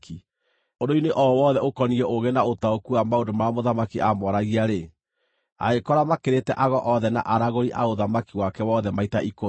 Ũndũ-inĩ o wothe ũkoniĩ ũũgĩ na ũtaũku wa maũndũ marĩa mũthamaki aamoragia-rĩ, agĩkora makĩrĩte ago othe na aragũri a ũthamaki wake wothe maita ikũmi.